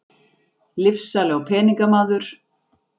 Lyfsali og peningamaður.